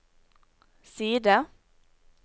side